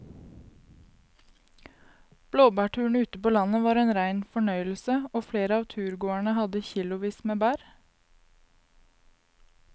Blåbærturen ute på landet var en rein fornøyelse og flere av turgåerene hadde kilosvis med bær.